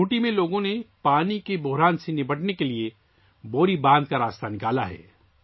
کھنٹی کے لوگوں نے پانی کے بحران سے نمٹنے کے لیے بوری ڈیم سے نکلنے کا راستہ تلاش کر لیا ہے